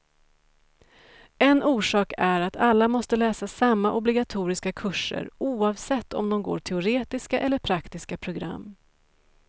En orsak är att alla måste läsa samma obligatoriska kurser, oavsett om de går teoretiska eller praktiska program.